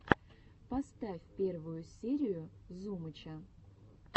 поставь первую серию зумыча